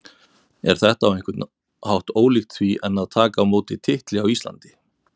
Er þetta á einhvern hátt ólíkt því en að taka á móti titli á Íslandi?